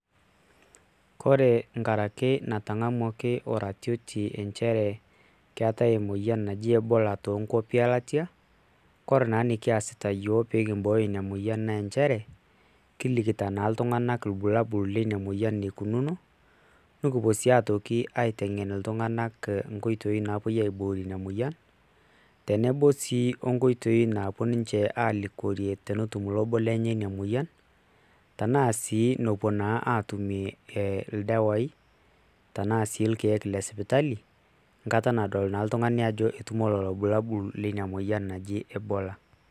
Kore nkaraki natang`amuaki oratioti nchere keetae emoyian naji ebola too nkuapi e latia. Kore naa enikiasita iyiok pee kimbooyo ina moyian naa nchere, kilikita naa iltung`anak ilbulabul leina moyian enikununo. Nikipuo sii aitoki aiteng`en iltung`anak nkoitoi naapuoi aiboorie ina moyian tenebo sii o nkoitoi naapuo ninche alikiorie tenetum obo lenche ina moyian. Tenaa sii nopuo aatumie ildawai tenaa sii ilkiek le sipitali nkaata nadol naa iltung`ani ajo etumo ilbulabul leina moyian naji ebola.